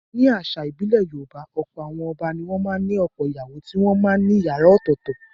Nínú àṣà ìbílẹ̀ Yorùbá, ọ̀pọ̀ àwọn ọba ni wọ́n ní ọ̀pọ̀ ìyàwó tí wọ́n máa ń ní ìyàrá ọ̀tọ̀ọ̀tọ̀.